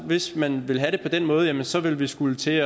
hvis man ville have det på den måde så ville vi skulle til